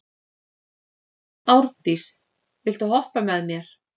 Árndís, viltu hoppa með mér?